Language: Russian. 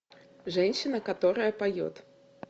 женщина которая поет